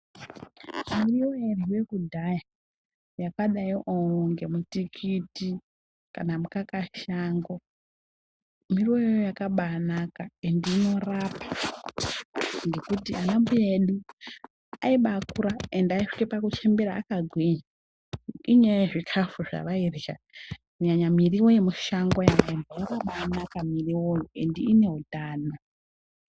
Miriwo yauryiwa kudhaya yakadaroko nematikiti kana makaka shango miriwo iyona yakabanaka ende inorapa ngekuti ana mbuya edu aibakura ende aisvika kuchembera akagwinya enyaya yezvikafu zvavairya kunyanya muriwo yemushango muriwo iyi yakabanaka muriwo iyi ende ine hutano.